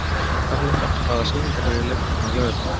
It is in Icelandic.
Karlotta, hvaða sýningar eru í leikhúsinu á laugardaginn?